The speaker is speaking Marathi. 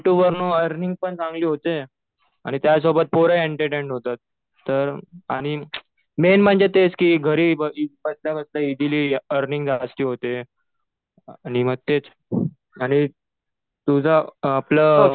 यु ट्युब वरुन अर्निंग पण चांगली होते. आणि त्यासोबत पोरही एन्टरटेन होतात तर आणि मेन म्हणजे तेच कि घरी बसल्या बसल्या इजिली अर्निंग जास्त होते. आणि मग तेच आणि तुझं आपलं